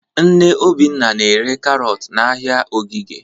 Nne Obinna na-ere karọt n'ahịa Ogige.